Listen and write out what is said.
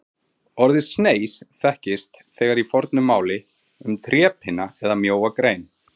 Orðið sneis þekkist þegar í fornu máli um trépinna eða mjóa grein.